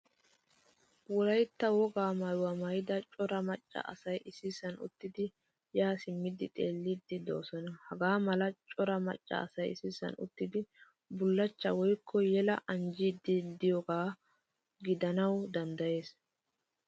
Wolaytta wogaa maayuwaa maayida cora macca asay issisan uttidi yaa simmidi xeelidi deosona. Hagaamala cora macca asay issisan uttidi bullachcha woykko yela anjjidi deiyoga gidanawu danddayees.